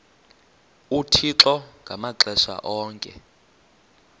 uthixo ngamaxesha onke